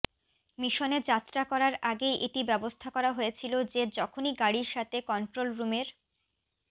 মিশনে যাত্রা করার আগেই এটি ব্যবস্থা করা হয়েছিল যে যখনই গাড়ির সাথে কন্ট্রোল রুমের